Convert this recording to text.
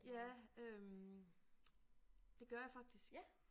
Ja øh det gør jeg faktisk